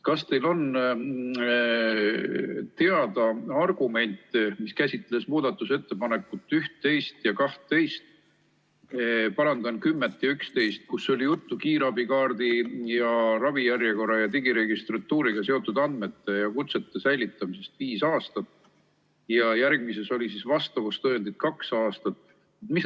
Kas teile on teada argument, millele toetuvad muudatusettepanekud 10 ja 11, milles on juttu kiirabikaardi, ravijärjekorra ja digiregistratuuriga seotud andmete ja kutsete säilitamisest viieks aastaks ning vastavustõendite säilitamisest kaheks aastaks?